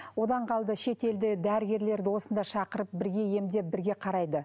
одан қалды шетелде дәрігерлерді осында шақырып бірге емдеп бірге қарайды